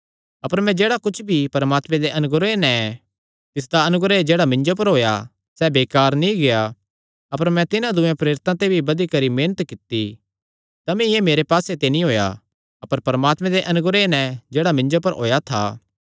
अपर मैं जेह्ड़ा कुच्छ भी ऐ परमात्मे दे अनुग्रह नैं ऐ तिसदा अनुग्रह जेह्ड़ा मिन्जो पर होएया सैह़ बेकार नीं गेआ अपर मैं तिन्हां दूये प्रेरितां ते भी बधी करी मेहनत कित्ती तमी एह़ मेरे पास्से ते नीं होएया अपर परमात्मे दे अनुग्रह नैं जेह्ड़ा मिन्जो पर होएया था